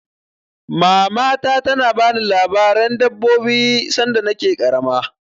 Mamata ta na bani labaren dabbobi sanda na ke ƙarama